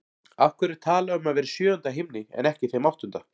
Af hverju er talað um að vera í sjöunda himni en ekki þeim áttunda?